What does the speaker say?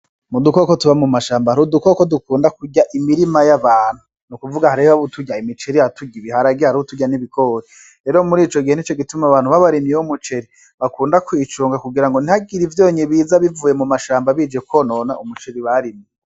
Ni udukoko tuba mu mashamba ni udukoko tukunda kurya imirima y'abantu, ni ukuvuga hariho uturya imiceri hariho uturya ibiharage hariho uturya n'ibigori rero muri ico gihe nico gituma abantu b'abarimyi b'imiceri bakunda kuyicunga kugira ngo ntihagire ivyonyi biza bivuye mu mashamba bije kwonona umuceri barimye.